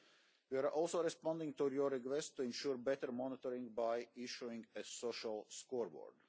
We are also responding to your request to ensure better monitoring by issuing a social scoreboard.